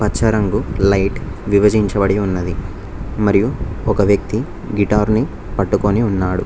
పచ్చ రంగు లైట్ విభజించబడి ఉన్నది మరియు ఒక వ్యక్తి గిటార్ ని పట్టుకొని ఉన్నాడు.